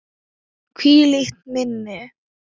Hvílíkt minni!